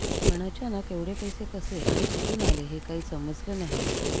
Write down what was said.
पण अचानक एवढे पैसे कसे आणि कुठून आले हे काही समजलं नाही